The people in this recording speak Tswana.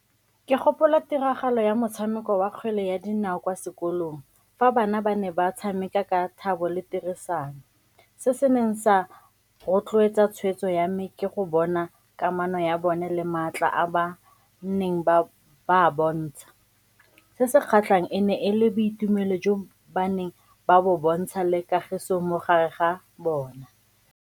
Ke gopola tiragalo ya motshameko wa kgwele ya dinao kwa sekolong, fa bana ba ne ba tshameka ka thabo le tirisano. Se se neng sa rotloetsa tshweetso ya me ke go bona kamano ya bone le maatla a ba neng ba bontsha, se se kgatlhang e ne e le boitumelo jo ba neng ba bo bontsha le kagiso mo gare ga bone.